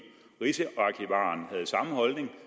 rigsarkivaren havde samme holdning